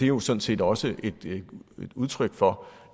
jo sådan set også et udtryk for